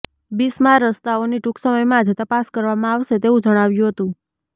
બિસ્માર રસ્તાઓની ટુંક સમયમાં જ તપાસ કરવામાં આવશે તેવુ જણાવ્યુ હતુ